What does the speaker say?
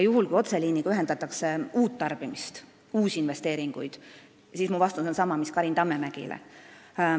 Kuna otseliiniga ühendatakse uus tarbija, tehakse uusi investeeringuid, siis mu vastus on sama mis Karin Tammemäele.